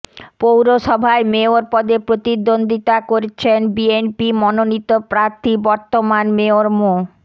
পৌরসভায় মেয়র পদে প্রতিদ্বন্দ্বিতা করছেন বিএনপি মনোনীত প্রার্থী বর্তমান মেয়র মো